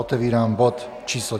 Otevírám bod číslo